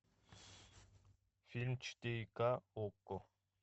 фильм четыре ка окко